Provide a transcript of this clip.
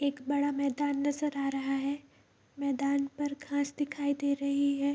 एक बड़ा मैदान नजर आ रहा है मैदान पर घास दिखाई दे रहे हैं।